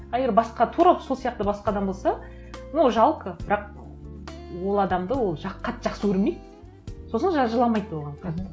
а егер басқа тура сол сияқты басқа адам болса ну жалко бірақ ол адамды ол қатты жақсы көрмейді сосын жыламайды оған қатты